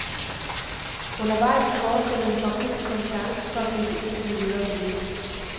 Undervejs i forestillingen får publikum chancen for at gribe ind i det videre forløb.